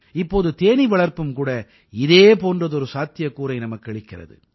இப்போது தேனீ வளர்ப்பும் கூட இதே போன்றதொரு சாத்தியக்கூறை நமக்கு அளிக்கிறது